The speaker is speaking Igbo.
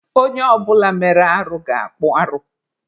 Onye ọ bụla mere arụ ga-akpụ arụ.